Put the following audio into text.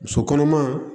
Muso kɔnɔma